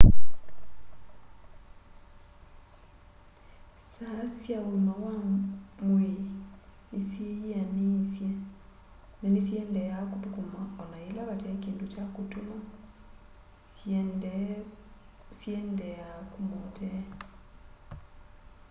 saa sya ũĩma wa mwĩĩ nĩsyĩ yĩanĩĩsye na nĩsiendeeaa kũthũkuma ona yĩla vate kĩndũ kya kũtũma syĩendeea kũma ũtee